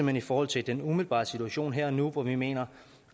hen i forhold til den umiddelbare situation her og nu hvor vi mener